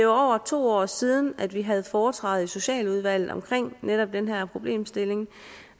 over to år siden at vi havde foretræde i socialudvalget omkring netop den her problemstilling